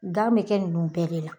Gan be kɛ nunnu bɛɛ de la